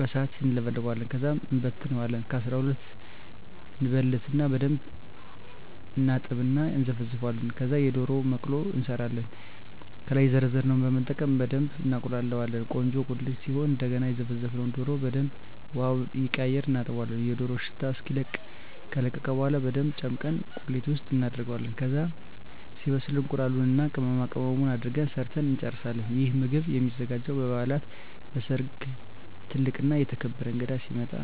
በሣት እንለበልበዋለን። ከዛ እንበልተዋለን ከ12 እበልትና በደንብ እናጥብና እና እነዘፈዝፈዋለን። ከዛ የደሮ መቅሎ እንሠራለን። ከላይ የዘረዘርነውን በመጠቀም በደብ እናቁላላዋለን ቆንጆ ቁሌት ሲሆን እደገና የዘፈዘፍነውን ደሮ በደንብ ውሀውን እየቀያየርን እናጥበዋለን የደሮው ሽታ እስኪለቅ። ከለቀቀ በኋላ በደንብ ጨምቀን ቁሌት ውስጥ እናደርገዋለን። ከዛ ሲበስል እቁላሉን እና ቅመማቅመሙን አድርገን ሠርተን እንጨርሣለን። ይህ ምግብ የሚዘጋጀው በበዓላት፣ በሠርግ፣ ትልቅ እና የተከበረ እንግዳ ሲመጣ።